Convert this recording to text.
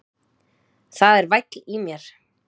Það er væll í mér.